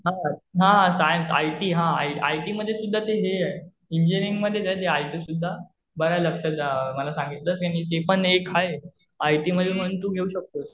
हा. हा science, IT हा, आयटी मध्ये सुध्दा ते हे आहे. इंजिनीअरिंग मध्ये आहे ते आयटी सुध्दा. बरं लक्षात म्हणजे मला सांगितलंस. आणि ते पण एक आहे. आयटी मध्ये पण तू घेऊ शकतोस.